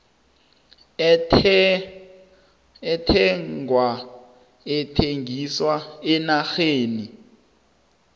ethengwa ethengiswa eenarheni